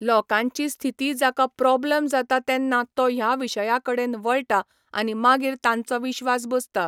लोकांची स्थिती जाका प्रोब्लम जाता तेन्ना तो ह्या विशया कडेन वळटा आनी मागीर तांचो विश्वास बसता.